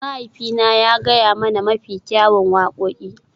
Mahaifina ya gaya mana mafi kyawun wakoki.